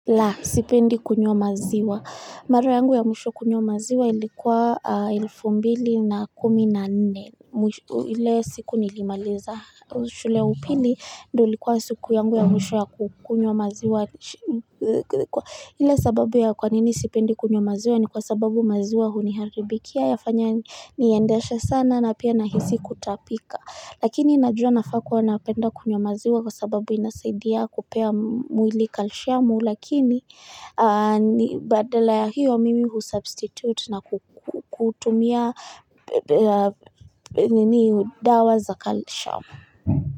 La, sipendi kunywa maziwa. Mara yangu ya mwisho kunywa maziwa ilikuwa elfu mbili na kumi na nne. Ile siku nilimaliza shule ya upili ndo likuwa siku yangu ya mwisho ya kunywa maziwa. Ile sababu ya kwanini sipendi kunywa maziwa ni kwa sababu maziwa huniharibikia yafanya niendesha sana na pia nahisi kutapika. Lakini najua nafaa kuwa napenda kunywa maziwa kwa sababu inasaidia kupea mwili kalshamu lakini badala ya hiyo mimi husubstitute na kutumia dawa za kalshamu.